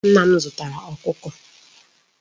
Nna m zutara Okuko